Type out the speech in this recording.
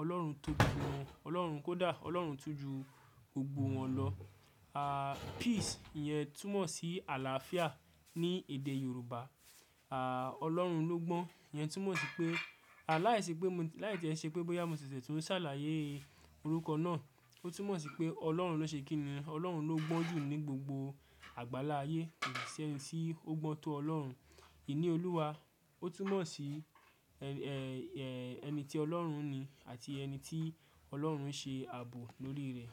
Ọlọ́run tó gbogbo wọn, Ọlọ́run-- kó dá, Ọlọ́run tún ju gbogbo wọn lọ. Peace ìyẹn túmọ̀ sí àlàáfíà ní èdè Yorùbá. Ọlọ́run ló gbọ́n, ìyẹn túmọ̀ sí pé, láìṣe pé mo, láì tí ẹ ṣe pé bóyá mo ṣẹ̀ṣẹ̀ tun n sàlàyé orúkọ náà, ó túmọ̀ sí pé Ọlọ́run ló ṣe kí ni, Ọlọ́run ló gbọ́n jù ní gbogbo àgbánlá ayé, ko sí si ẹ́ni tí ó gbọ́n tó Ọlọ́run. Ìníolúwa, ó túmọ̀ sí, ẹni tí Ọlọ́run ní àti ẹni tí Ọlọ́run ṣe àbò lórí rẹ̀